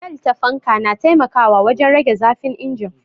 Bel ta fanka na taimakawa wajen rage zafin injin